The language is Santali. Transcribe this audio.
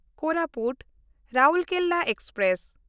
ᱠᱳᱨᱟᱯᱩᱴ–ᱨᱟᱣᱩᱨᱠᱮᱞᱟ ᱮᱠᱥᱯᱨᱮᱥ